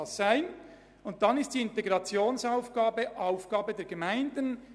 Dann gehörte dieses Angebot zur Integration und wäre Aufgabe der Gemeinden.